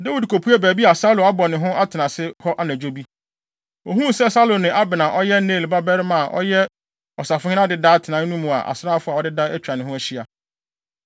Dawid kopuee baabi a Saulo abɔ ne ho atenase hɔ anadwo bi. Ohuu sɛ Saulo ne Abner a ɔyɛ Ner babarima a ɔyɛ ɔsafohene adeda atenae no mu a asraafo a wɔadeda atwa ne ho ahyia.